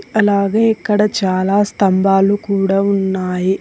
అలాగే ఇక్కడ చాలా స్తంభాలు కూడా ఉన్నాయి.